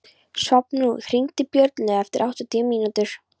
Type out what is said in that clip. Svanþrúður, hringdu í Björnlaugu eftir áttatíu mínútur.